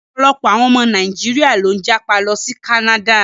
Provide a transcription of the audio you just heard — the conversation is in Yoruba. Ọ̀pọ̀lọpọ̀ àwọn ọmọ Nàíjíríà ló ń jápa lọ sí Canada.